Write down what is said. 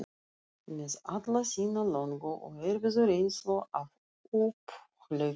Með alla sína löngu og erfiðu reynslu af upphlaupum